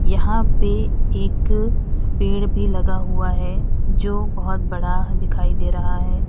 यहां पे एक पेड़ भी लगा हुआ है जो बहुत बड़ा दिखाई दे रहा है।